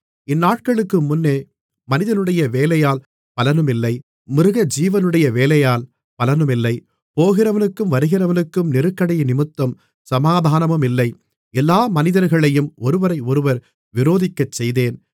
இந்நாட்களுக்கு முன்னே மனிதனுடைய வேலையால் பலனுமில்லை மிருகஜீவனுடைய வேலையால் பலனுமில்லை போகிறவனுக்கும் வருகிறவனுக்கும் நெருக்கடியினிமித்தம் சமாதானமுமில்லை எல்லா மனிதர்களையும் ஒருவரையொருவர் விரோதிக்கச்செய்தேன்